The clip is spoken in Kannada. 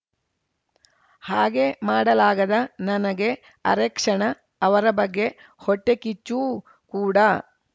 ಹಾಗೆ ಮಾಡಲಾಗದ ನನಗೆ ಅರೆಕ್ಷಣ ಅವರ ಬಗ್ಗೆ ಹೊಟ್ಟೆಕಿಚ್ಚೂ ಕೂಡ